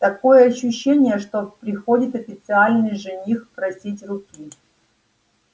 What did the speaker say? такое ощущение что приходит официальный жених просить руки